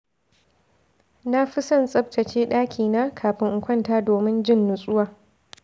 Na fi son tsaftace ɗakina kafin in kwanta domin jin natsuwa.